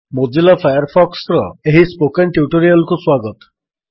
Mozilla ଫାୟାରଫକ୍ସର ଏହି spoken tutorial କୁ ସ୍ୱାଗତ